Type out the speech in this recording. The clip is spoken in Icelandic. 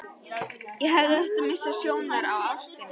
Ég hefði átt að missa sjónar á ástinni.